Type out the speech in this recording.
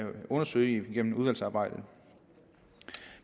undersøge i udvalgsarbejdet